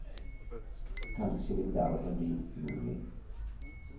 Kanskje vil det aldri bli mulig.